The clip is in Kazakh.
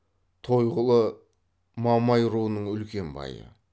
тойғұлы мамай руының үлкен байы